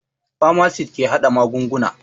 Famasit ke harhaɗa magunguna